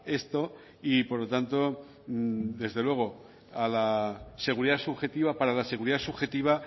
esto y por lo tanto desde luego a la seguridad subjetiva para la seguridad subjetiva